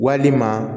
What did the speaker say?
Walima